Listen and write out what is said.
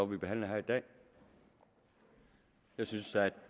vi behandler her i dag jeg synes at